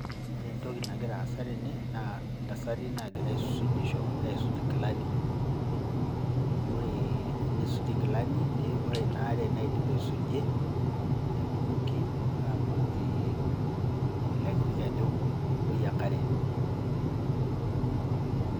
Ore entoki nagira aasa tene naa ntasati nagira aisujisho asuj nkilani. Ore enisuj nkilani, ore ina aare naidip aisuje nebukoki ele kiti keju odoyio enkare.